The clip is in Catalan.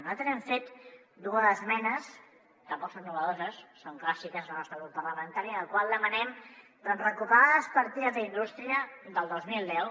nosaltres hem fet dues esmenes tampoc són innovadores són clàssiques del nostre grup parlamentari en les quals demanem doncs recuperar les partides d’indústria del dos mil deu